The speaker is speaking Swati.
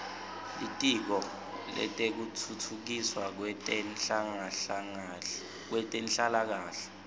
litiko letekutfutfukiswa kwetenhlalakahle